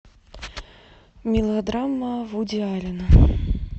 мелодрама вуди аллена